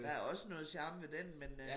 Der også noget charme ved den men øh